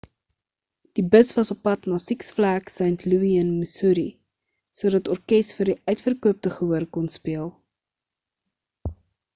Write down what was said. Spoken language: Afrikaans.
die bus was oppad na six flags st louis in missouri sodat orkes vir die uitverkoopte gehoor kon speel